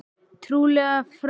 Trúlega frá móður sinni.